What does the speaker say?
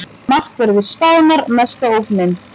Markverðir Spánar mesta ógnin